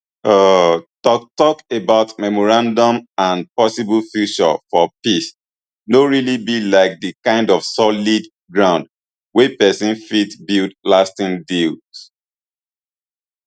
um toktok about memorandums and possible future for peace no really be like di kind of solid ground wey pesin fit build lasting deals